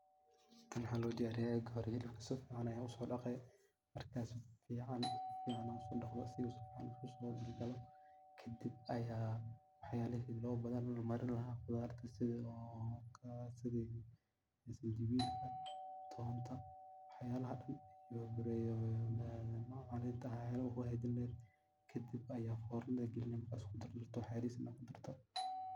Tan waxa lodiyariya xilibka oga hore si fican ayaa uso daqe ,kadib aya wax yalo badan oo lamarin laha ,qudarta oo sidha oo sanjabila, tonta wax yalaha oo dhan lo bahan yahay oo kuhaga jin laheyd. Kadib aya fornada galini markad isku dardarto oo wax yaris kudarto.